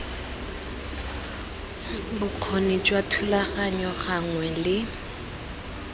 bokgoni jwa thulaganyo gangwe le